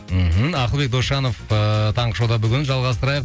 мхм ақылбек досжанов ыыы таңғы шоуда бүгін жалғастырайық